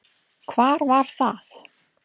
Hvar var það?